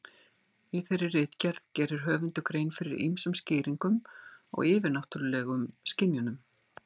Í þeirri ritgerð gerir höfundur grein fyrir ýmsum skýringum á yfirnáttúrulegum skynjunum.